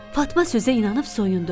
Fatma sözə inanıb soyundu.